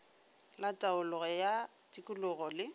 la taolo ya tikologo le